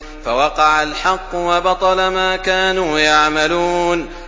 فَوَقَعَ الْحَقُّ وَبَطَلَ مَا كَانُوا يَعْمَلُونَ